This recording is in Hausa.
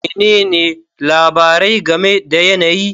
Menene labari game da yanayi?